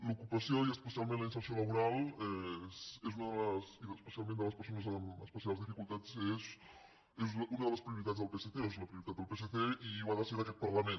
l’ocupació i especialment la inserció laboral i especialment de les persones amb especials dificultats és una de les prioritats del psc o és la prioritat del psc i ho ha de ser d’aquest parlament